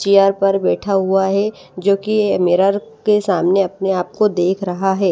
Chair पर बैठा हुआ है जो कि मिरर के सामने अपने आप को देख रहा है।